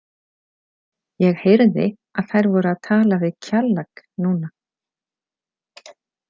Ég heyrði að þær voru að tala við Kjallak núna.